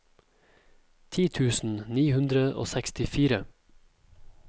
ti tusen ni hundre og sekstifire